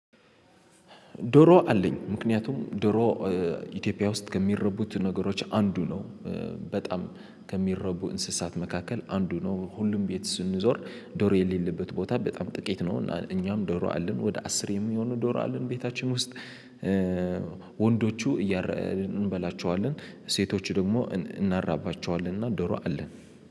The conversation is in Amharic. ዶሮ አለኝ ምክንያቱም ዶሮ ኢትዮጵያ ውስጥ ከሚረቡት ነገሮች አንዱ ነው። በጣም ከሚረቡ እንስሳት መካከል አንዱ ነው። ሁሉም ቤት ስንዞር ዶሮ የሌለበት ቦታ በጣም ጥቂት ነው። እኛም ዶሮ አለን ወደ አስር የሚሆን ዶሮ አለን ቤታችን ውስጥ። ወንዶቹ እንበላቸዋለን ሴቶቹ ደግሞ እናራባቸዋለን። እና ዶሮ አለን